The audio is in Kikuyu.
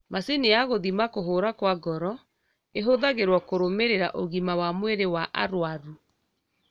Macini ya gũthima kũhũra kwa ngoro ihũthagĩrwo kũrũmĩrĩra ũgima wa mwĩrĩ wa arwaru